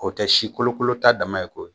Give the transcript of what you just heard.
O tɛ si kolokolo ta dama ye koyi